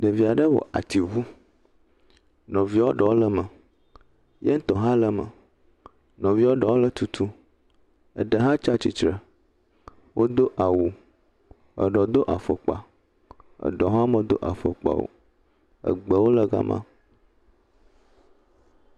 Ɖevia ɖe wɔ ati ŋu. Nɔvia ɖewo le eme. Yeŋtɔ hã le eme. Nɔvia eɖewo le tutum. Eɖe hã tsia tsitre. Wodo awu, eɖe do afɔkpa, eɖe hã medo afɔkpa o. Egbewo le ga ma.